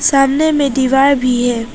सामने में दीवार भी है।